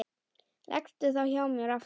Leggstu þá hjá mér aftur.